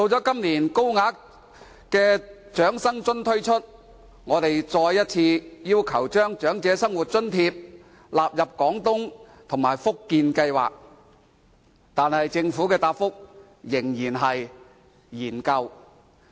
今年，高額長生津推出時，我們再次要求把長生津納入廣東計劃及福建計劃，但政府的答覆仍然是"研究"。